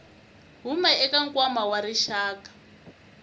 huma eka nkwama wa rixaka